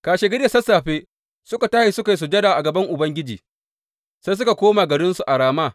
Kashegari da sassafe suka tashi suka yi sujada a gaban Ubangiji, sai suka koma garinsu a Rama.